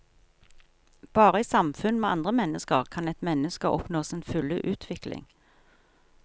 Bare i samfunn med andre mennesker kan et menneske oppnå sin fulle utvikling.